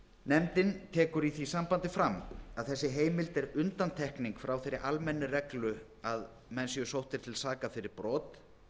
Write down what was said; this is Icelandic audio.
nefndin tekur í því sambandi fram að þessi heimild er undantekning frá þeirri almennu reglu að menn séu sóttir til saka fyrir brot